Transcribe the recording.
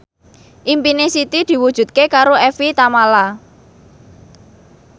impine Siti diwujudke karo Evie Tamala